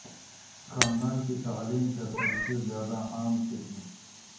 خاندان کی تعلیم کا سب سے زیادہ عام قسم